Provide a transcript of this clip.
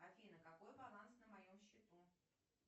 афина какой баланс на моем счету